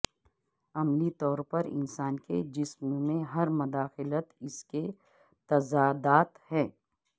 عملی طور پر انسان کے جسم میں ہر مداخلت اس کے تضادات ہیں